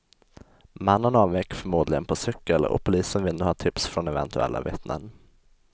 Mannen avvek förmodligen på cykel och polisen vill nu ha tips från eventuella vittnen.